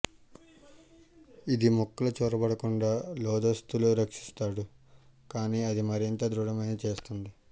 ఇది ముక్కలు చొరబడకుండా లోదుస్తులు రక్షిస్తాడు కానీ అది మరింత దృఢమైన చేస్తుంది